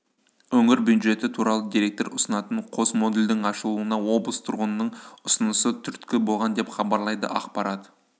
өңір бюджеті туралы деректер ұсынатын қос модульдің ашылуына облыс тұрғынының ұсынысы түрткі болған деп хабарлайды ақпарат